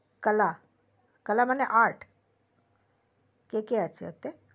কালা কালা মানে art কে কে আছে ওতে